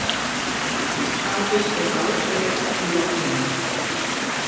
Hafið er ládautt í logninu.